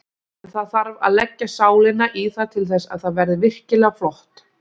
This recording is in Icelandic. En það þarf að leggja sálina í það til þess að það verði virkilega flott.